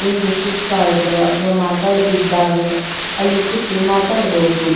ಏನ್ರಿ ಸುಸ್ತ್ ಆದ್ರ ಅಥವಾ ಮಾತಾಡದಿದ್ದಾಗ ಅಲ್ಲಿ ಕೂತು ಮಾತಾಡಬಹುದು.